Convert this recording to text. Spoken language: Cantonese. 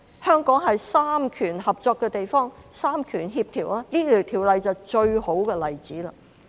香港是三權合作的地方，三權協調，《條例草案》便是最好的例子。